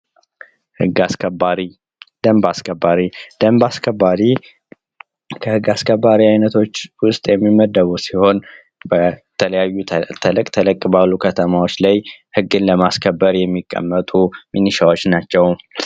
ህግ አስከባሪ ደንብ አስከባሪ ደንብ አስከባሪ ከህግ አስከባሪዎች መካከል የሚመደብ ሲሆን በተለያዩ ተለቅ ተለቅ ባሉ ከተማዎች ላይ ግን ለማስከበር የሚቀመጡ ሚኒሻዎች ናቸው።